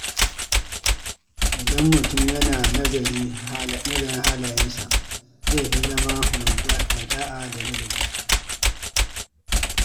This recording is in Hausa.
Idan mutum yana nazarin halayensa, zai fi zama mai ɗa’a da ladabi.